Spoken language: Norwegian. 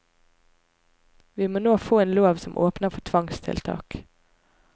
Vi må nå få en lov som åpner for tvangstiltak.